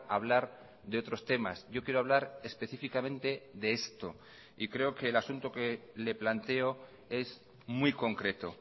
hablar de otros temas yo quiero hablar específicamente de esto y creo que el asunto que le planteo es muy concreto